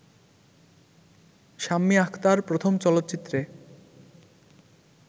শাম্মী আখতার প্রথম চলচ্চিত্রে